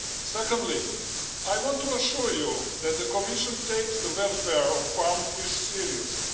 Secondly, I want to assure you that the Commission takes the welfare of farmed fish seriously.